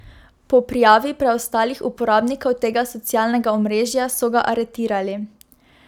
Po prijavi preostalih uporabnikov tega socialnega omrežja so ga aretirali.